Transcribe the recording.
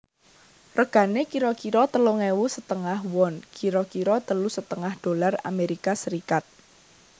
Regane kira kira telung ewu setengah won kira kira telu setengah dolar Amerika Serikat